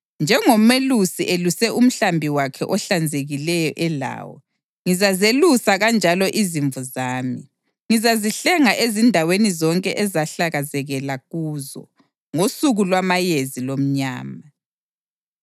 Njengomelusi eluse umhlambi wakhe ohlakazekileyo elawo, ngizazelusa kanjalo izimvu zami. Ngizazihlenga ezindaweni zonke ezahlakazekela kuzo ngosuku lwamayezi lomnyama.